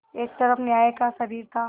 एक तरफ न्याय का शरीर था